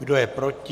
Kdo je proti?